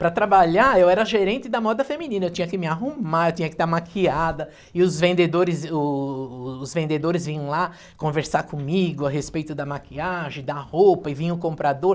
Para trabalhar, eu era a gerente da moda feminina, eu tinha que me arrumar, eu tinha que estar maquiada, e os vendedores o os vendedores vinham lá conversar comigo a respeito da maquiagem, da roupa, e vinha o comprador.